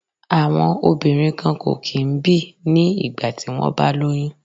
Àwọn obìnrin kan kò kí ń bì ní ìgbà tí wón bá lóyún.